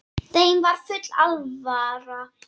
Þeim var full alvara.